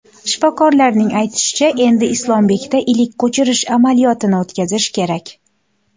Shifokorlarning aytishicha, endi Islombekda ilik ko‘chirish amaliyotini o‘tkazish kerak.